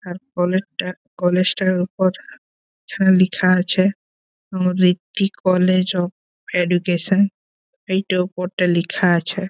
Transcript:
আর college টা college -টার উপর ছা লিখা আছে কলেজ অফ এডুকেশন এই টো উপর টাই লিখা আছে।